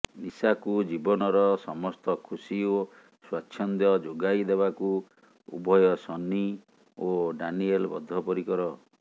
ନିଶାକୁ ଜୀବନର ସମସ୍ତ ଖୁସି ଓ ସ୍ୱାଚ୍ଛନ୍ଦ୍ୟ ଯୋଗାଇ ଦେବାକୁ ଉଭୟ ସନ୍ନି ଓ ଡାନିଏଲ୍ ବଦ୍ଧ ପରିକର